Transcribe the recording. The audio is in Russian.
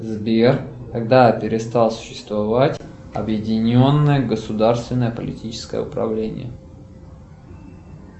сбер когда перестало существовать объединенное государственное политическое управление